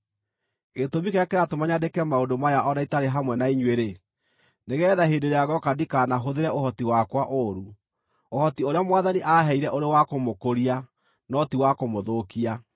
Gĩtũmi kĩrĩa kĩratũma nyandĩke maũndũ maya o na itarĩ hamwe na inyuĩ-rĩ, nĩgeetha hĩndĩ ĩrĩa ngooka ndikaanahũthĩre ũhoti wakwa ũũru, ũhoti ũrĩa Mwathani aaheire ũrĩ wa kũmũkũria, no ti wa kũmũthũkia.